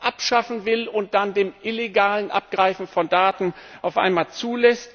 abschaffen will und dann das illegale Abgreifen von Daten auf einmal zulässt.